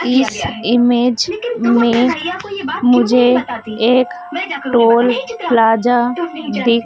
इस इमेज में मुझे एक टोल प्लाज़ा दिख --